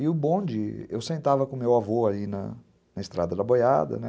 E o bonde, eu sentava com o meu avô aí na na estrada da boiada, né?